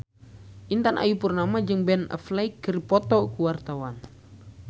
Intan Ayu Purnama jeung Ben Affleck keur dipoto ku wartawan